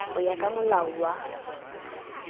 ho ya ka molao wa